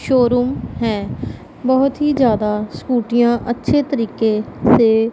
showroom है बहुत ही ज्यादा स्कूटियां अच्छे तरीके से--